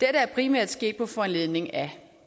er primært sket på foranledning af